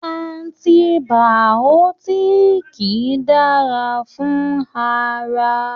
Antibàọ́tìkì dára fún ara.